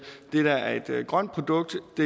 at det der er et grønt produkt